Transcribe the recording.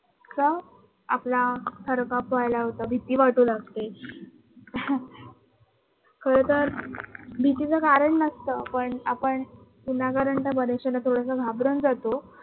तर आपला थरकाप व्हायला होतो. भीती वाटू लागते खरतर भीतीच कारण नसत पण आपण विनाकारण त्या बऱ्याश्याला थोडस घाबरून जातो.